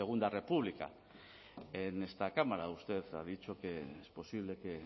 segundo república en esta cámara usted ha dicho que es posible que